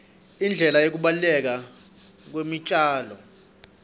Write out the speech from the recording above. indlela yekubaluleka kwetitjalo